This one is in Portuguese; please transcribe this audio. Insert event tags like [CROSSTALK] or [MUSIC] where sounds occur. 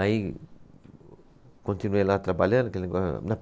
Aí continuei lá trabalhando, aquele. [UNINTELLIGIBLE]